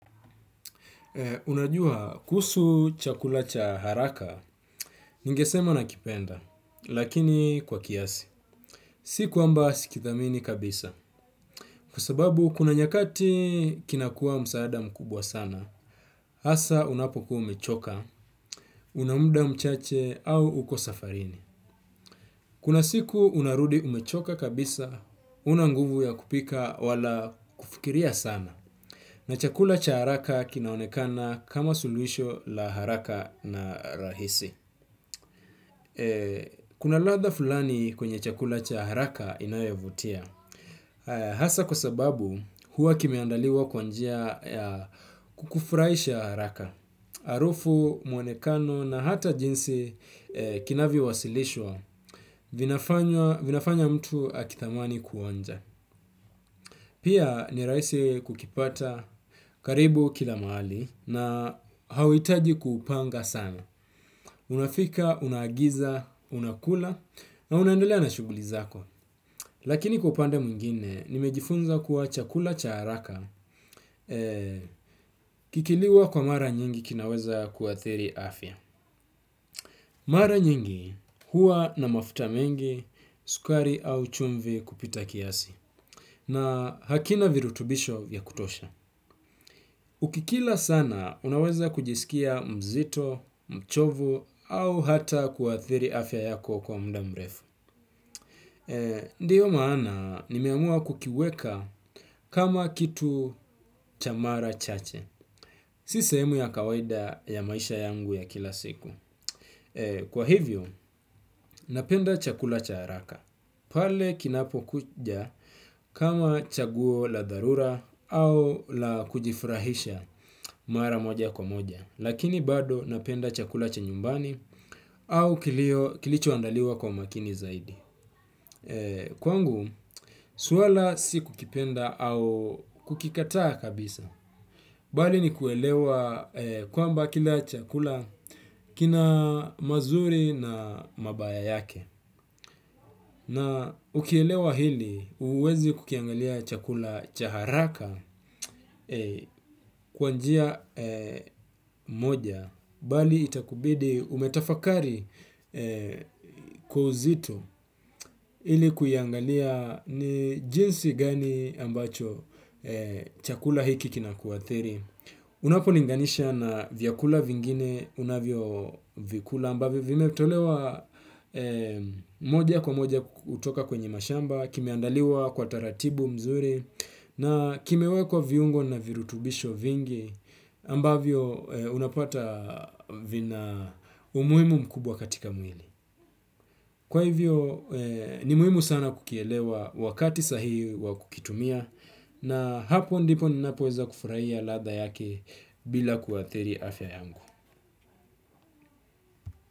Unajua, kuhusu chakula cha haraka, ningesema nakipenda, lakini kwa kiasi. Si kuamba sikidhamini kabisa. Kwa sababu, kuna nyakati kinakuwa msaada mkubwa sana, hasa unapokuwa umechoka, unamuda mchache au uko safarini. Kuna siku unarudi umechoka kabisa, huna nguvu ya kupika wala kufikiria sana. Na chakula cha haraka kinaonekana kama suluhisho la haraka na rahisi. Kuna ladha fulani kwenye chakula cha haraka inayovutia. Hasa kwa sababu huwa kimeandaliwa kwa njia ya kukufurahisha haraka. Harufu muonekano na hata jinsi kinavyowasilishwa vina fanya mtu atamani kuonja. Pia ni rahisi kukipata karibu kila mahali na hauhitaji kupanga sana. Unafika unaagiza unakula na unaendelea na shughuli zako. Lakini kwa upande mwingine, nimejifunza kuwa chakula cha haraka kikiliwa kwa mara nyingi kinaweza ku athiri afya. Mara nyingi huwa na mafuta mengi, sukari au chumvi kupita kiasi. Na hakina virutubisho ya kutosha. Ukikila sana, unaweza kujisikia mzito, mchovu, au hata kuathiri afya yako kwa muda mrefu. Ndiyo maana, nimeamua kukiweka kama kitu cha mara chache. Si sehemu ya kawaida ya maisha yangu ya kila siku. Kwa hivyo, napenda chakula cha haraka. Pale kinapo kuja kama chaguo la dharura au la kujifurahisha mara moja kwa moja. Lakini bado napenda chakula cha nyumbani au kilicho andaliwa kwa makini zaidi. Kwangu, swala si kukipenda au kukikataa kabisa. Bali ni kuelewa kwamba kila chakula kina mazuri na mabaya yake. Na ukielewa hili huwezi kukiangalia chakula cha haraka kwa njia moja bali itakubidi umetafakari kwa uzito ili kuiangalia ni jinsi gani ambacho chakula hiki kinakuathiri. Unapo linganisha na vyakula vingine unavyo vikula ambavyo vimetolewa moja kwa moja kutoka kwenye mashamba, kimeandaliwa kwa taratibu mzuri na kimewekwa viungo na virutubisho vingi ambavyo unapata vina umuhimu mkubwa katika mwili. Kwa hivyo ni muhimu sana kukielewa wakati sahihi wa kukitumia na hapo ndipo ninapoweza kufurahia ladha yake bila kuathiri afya yangu.